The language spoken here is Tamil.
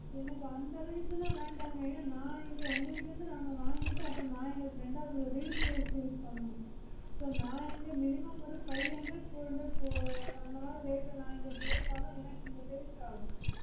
எனக்கு அந்த range ல வேண்டாங்க என ந இங்க உங்க கிட்ட இருந்து நாங்க வாங்கிட்டு அப்ரோ ந இங்க ரெண்டாவது resale பண்ணுனோம் so ந இங்க minimum five hundred four hundred ஆஹ் அந்த மாதிரி rate ல ந இங்க போட்டதா எனக்கு இங்க sales ஆகும்